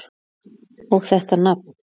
Og þetta nafn!